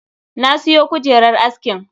Na siyo kujerar askin.